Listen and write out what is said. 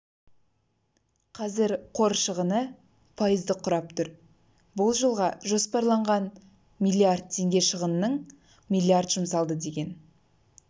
қазір қор шығыны пайызды құрап тұр бұл жылға жоспарланған миллиард теңге шығынның миллиард жұмсалды деген